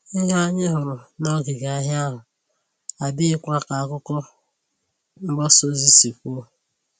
Ìhè anyị hụrụ n'òngìgè ahia ahụ adịghịkwa ka àkụ̀kọ̀ mgbasa ozi si kwuo